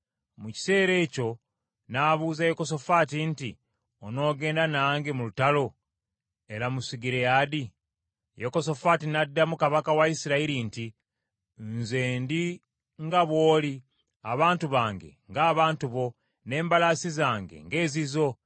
Mu kiseera ekyo n’abuuza Yekosafaati nti, “Onoogenda nange mu lutalo e Lamosugireyaadi?” Yekosafaati n’addamu kabaka wa Isirayiri nti, “Nze ndi nga bw’oli abantu bange ng’abantu bo, n’embalaasi zange ng’ezizo.”